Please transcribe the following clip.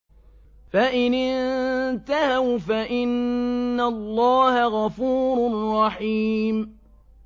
فَإِنِ انتَهَوْا فَإِنَّ اللَّهَ غَفُورٌ رَّحِيمٌ